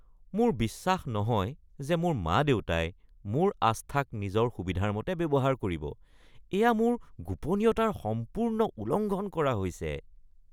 মোৰ বিশ্বাস নহয় যে মোৰ মা-দেউতাই মোৰ আস্থাক নিজৰ সুবিধাৰ মতে ব্যৱহাৰ কৰিব। এয়া মোৰ গোপনীয়তাৰ সম্পূৰ্ণ উলংঘন কৰা হৈছে।